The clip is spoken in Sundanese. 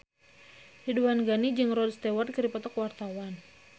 Ridwan Ghani jeung Rod Stewart keur dipoto ku wartawan